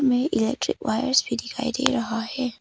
ये electric wires भी दिखाई दे रहा है।